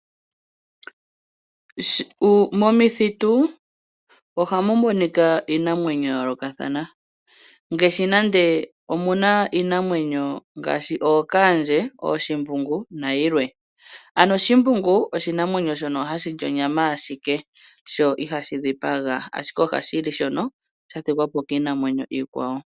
Momithitu ohamu monika iinamwenyo ya yoolokathana ngaashi nande omuna iinamwenyo ngaashi ookaandje ooshimbungu na yilwe. Ano Shimbungu oshinamwenyo shono hashi li onyama ashike sho ihashi dhipaga ashike ohashi li shono sha thigwapo kiinamwenyo ikwawo.